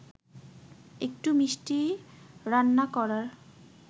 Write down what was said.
একটু মিষ্টি রান্না করার